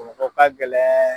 Bamakɔ ka gɛlɛn